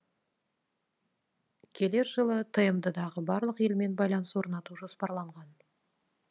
келер жылы тмд дағы барлық елмен байланыс орнату жоспарланған